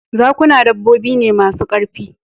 Zakuna dabbobi ne masu ƙarfi